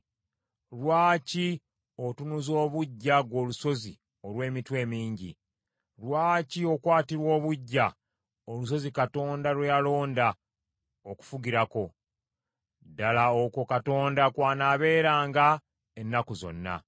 Lwaki otunuza obuggya ggwe olusozi olw’emitwe emingi? Lwaki okwatirwa obuggya olusozi Katonda lwe yalonda okufugirako? Ddala okwo Mukama kw’anaabeeranga ennaku zonna.